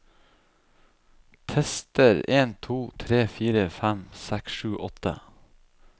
Tester en to tre fire fem seks sju åtte